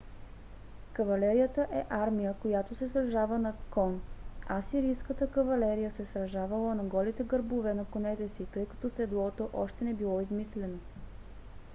кавалерията е армия която се сражава на кон. асирийската кавалерия се сражавала на голите гърбове на конете си тъй като седлото още не било измислено